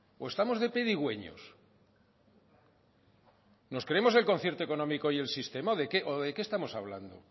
o estamos de pedigüeños nos creemos el concierto económico y el sistema o de qué estamos hablando